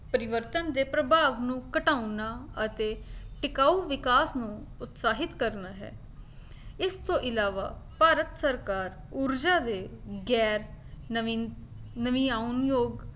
ਪਰਿਵਰਤਨ ਦੇ ਪ੍ਰਭਾਵ ਨੂੰ ਘਟਾਉਣਾ ਅਤੇ ਟਿਕਾਊ ਵਿਕਾਸ ਨੂੰ ਉਤਸ਼ਾਹਿਤ ਕਰਨਾ ਹੈ ਇਸਤੋਂ ਇਲਾਵਾ ਭਾਰਤ ਸਰਕਾਰ ਊਰਜਾ ਦੇ ਗੈਰ ਨਮੀਂ ਨਵਿਆਉਣ ਯੋਗ